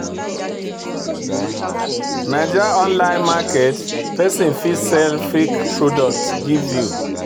Naija online market, pesin fit sell fake products give you.